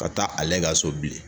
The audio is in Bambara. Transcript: Ka taa ale ka so bilen